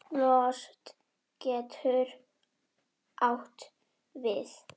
Lost getur átt við